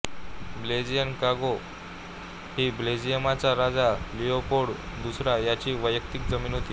Belgian Congo ही बेल्जियमचा राजा लियोपोल्ड दुसरा याची वैयक्तिक जमीन होती